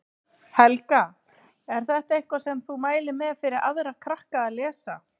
Helga: Er þetta eitthvað sem þú mælir með fyrir aðra krakka að lesa?